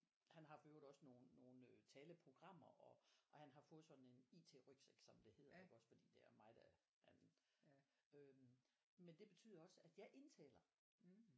Han har for øvrigt også nogle nogle øh taleprogrammer og og han har fået sådan en IT-rygsæk som det hedder iggås fordi det er mig der han øh men det betyder også at jeg indtaler